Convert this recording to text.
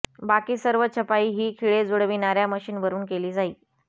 बाकी सर्व छपाई ही खिळे जुळविणाऱ्या मशीनवरून केली जाई